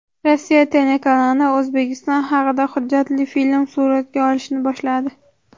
Rossiya telekanali O‘zbekiston haqida hujjatli film suratga olishni boshladi.